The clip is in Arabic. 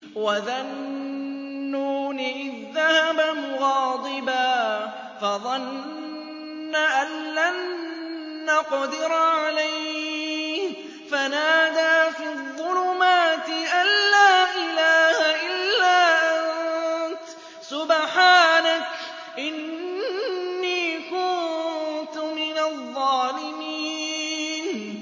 وَذَا النُّونِ إِذ ذَّهَبَ مُغَاضِبًا فَظَنَّ أَن لَّن نَّقْدِرَ عَلَيْهِ فَنَادَىٰ فِي الظُّلُمَاتِ أَن لَّا إِلَٰهَ إِلَّا أَنتَ سُبْحَانَكَ إِنِّي كُنتُ مِنَ الظَّالِمِينَ